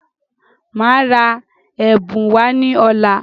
Máa ra ẹ̀bùn wá ní ọ̀la.